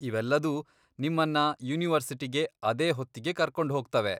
ಇವೆಲ್ಲದೂ ನಿಮ್ಮನ್ನ ಯೂನಿವರ್ಸಿಟಿಗೆ ಅದೇ ಹೊತ್ತಿಗೆ ಕರ್ಕೊಂಡ್ ಹೋಗ್ತವೆ.